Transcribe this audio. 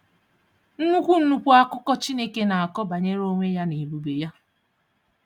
Nnukwu Nnukwu akụkọ Chineke na-akọ banyere onwe ya na ebube ya.